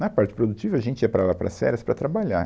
Na parte produtiva, a gente ia para lá, para as férias, para trabalhar.